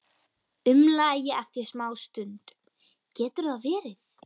umlaði ég eftir smástund: Getur það verið?